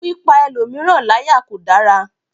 Pípa ẹlòmíràn láyà kò dára.